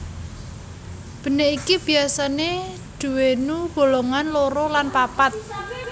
Benik iki biasane duwénu bolongan loro lan papat